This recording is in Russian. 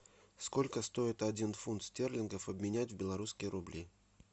сколько стоит один фунт стерлингов обменять в белорусские рубли